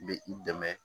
Bɛ i dɛmɛ